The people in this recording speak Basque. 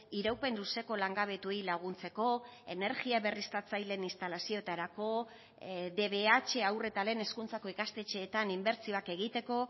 iraupen luzeko langabetuei laguntzeko energia berriztatzaileen instalazioetarako dbh haur eta lehen hezkuntzako ikastetxeetan inbertsioak egiteko